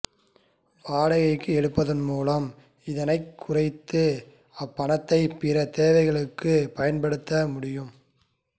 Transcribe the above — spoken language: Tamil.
வாடகைக்கு எடுப்பதன் மூலம் இதனைக் குறைத்து அப்பணத்தைப் பிற தேவைகளுக்குப் பயன்படுத்த முடியும்